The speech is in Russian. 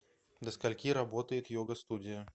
до скольки работает йога студия